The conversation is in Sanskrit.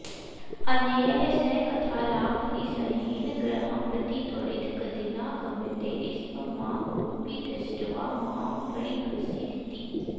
अन्यैः सह कथालापनिस्सहेन गृहं प्रति त्वरित गतिना गम्यते स्म मा कोऽपि द्रष्ट्वा मां परिहसीदिति